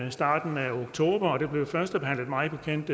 i starten af oktober og det blev mig bekendt